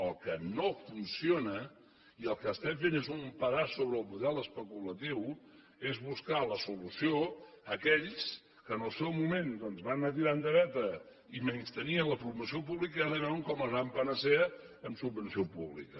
el que no funciona i el que estem fent és un pedaç sobre el model especulatiu és buscar la solució en aquells que en el seu moment doncs van anar tirant de veta i menystenien la promoció pública i ara ho veuen com la gran panacea amb subvenció pública